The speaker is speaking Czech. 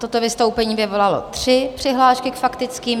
Toto vystoupení vyvolalo tři přihlášky k faktickým.